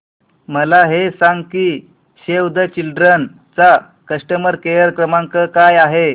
मला हे सांग की सेव्ह द चिल्ड्रेन चा कस्टमर केअर क्रमांक काय आहे